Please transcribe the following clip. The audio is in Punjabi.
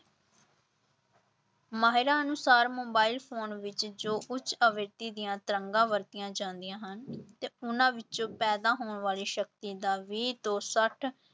ਮਾਹਿਰਾਂ ਅਨੁਸਾਰ ਮੋਬਾਇਲ ਫ਼ੋਨ ਵਿੱਚ ਜੋ ਕਿ ਦੀਆਂ ਤਰੰਗਾਂ ਵਰਤੀਆਂ ਜਾਂਦੀਆਂ ਹਨ ਤੇ ਉਹਨਾਂ ਵਿੱਚੋਂ ਪੈਦਾ ਹੋਣ ਵਾਲੀ ਸ਼ਕਤੀ ਦਾ ਵੀਹ ਤੋਂ ਛੱਠ